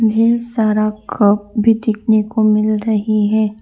ढेर सारा कप भी देखने को मिल रही है।